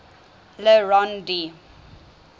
le rond d